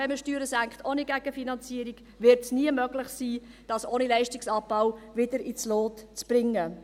Wenn man Steuern senkt ohne Gegenfinanzierung, wird es nie möglich sein, dies ohne Leistungsabbau wieder ins Lot zu bringen.